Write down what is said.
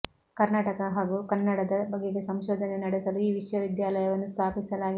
ಕರ್ನಾಟಕ ಹಾಗು ಕನ್ನಡದ ಬಗೆಗೆ ಸಂಶೋಧನೆ ನಡೆಸಲು ಈ ವಿಶ್ವವಿದ್ಯಾಲಯವನ್ನು ಸ್ಥಾಪಿಸಲಾಗಿದೆ